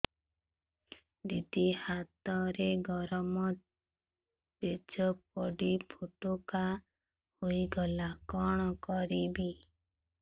ଦିଦି ହାତରେ ଗରମ ପେଜ ପଡି ଫୋଟକା ହୋଇଗଲା କଣ କରିବି